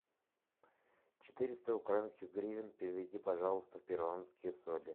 четыреста украинских гривен переведи пожалуйста в перуанские соли